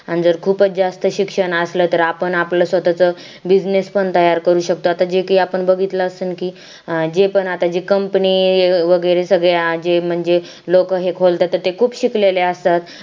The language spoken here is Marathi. आण जर खूप च जास्त शिक्षण असलं तर आपण आपलं स्वतःच business पण तयार करू शकतो आता जे काय आपण बघितलं असणं कि आता जे पण company वगैरे सगळे जे म्हणजे लोक हे खोलतात ते खूपच शिकलेले असतात